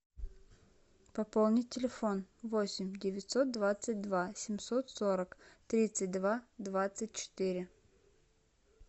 пополнить телефон восемь девятьсот двадцать два семьсот сорок тридцать два двадцать четыре